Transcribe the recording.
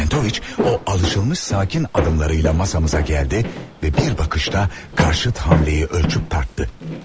Çentović o alışılmış sakin adımlarıyla masamıza gəldi və bir baxışda qarşıt hamleyi ölçüb tartdı.